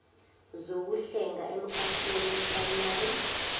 zokuhlenga emkhakheni weprayimari